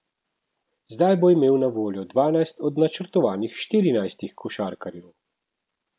Zdaj bo imel na voljo dvanajst od načrtovanih štirinajstih košarkarjev.